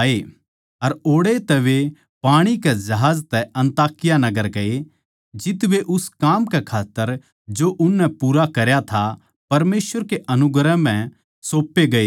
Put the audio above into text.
अर ओड़ै तै वे पाणी के जहाज तै अन्ताकिया नगर गये जित वे उस काम कै खात्तर जो उननै पूरा करया था परमेसवर के अनुग्रह म्ह सौपे गये थे